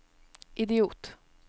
idiot